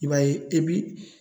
I b'a ye e bi